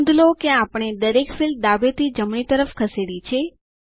નોંધ લો કે આપણે દરેક ફીલ્ડો ડાબે થી જમણી તરફ ખસેડી છે